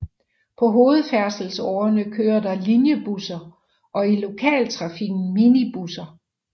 På hovedfærdselsårerne kører der linjebusser og i lokaltrafikken minibusser